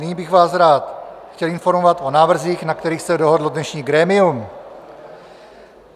Nyní bych vás rád chtěl informovat o návrzích, na kterých se dohodlo dnešní grémium.